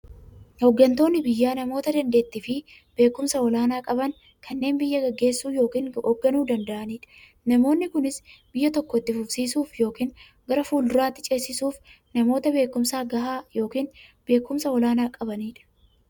Hooggantoonni biyyaa namoota daanteettiifi beekumsa olaanaa qaban, kanneen biyya gaggeessuu yookiin hoogganuu danda'aniidha. Namoonni kunis, biyya tokko itti fufsiisuuf yookiin gara fuulduraatti ceesisuuf, namoota beekumsa gahaa yookiin beekumsa olaanaa qabaniidha.